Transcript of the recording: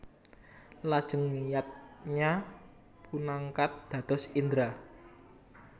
Lajeng Yadnya dipunangkat dados Indra